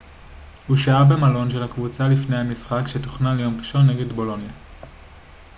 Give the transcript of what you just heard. הוא שהה במלון של הקבוצה לפני המשחק שתוכנן ליום ראשון נגד בולוניה